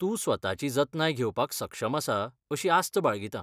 तूं स्वताची जतनाय घेवपाक सक्षम आसा अशी आस्त बाळगितां.